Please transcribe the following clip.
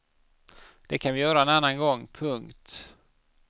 Det kan vi göra en annan gång. punkt